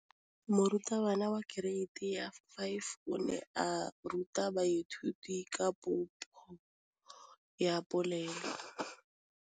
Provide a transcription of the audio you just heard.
Moratabana wa kereiti ya 5 o ne a ruta baithuti ka popô ya polelô.